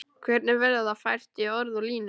Hvernig verður það fært í orð og línur?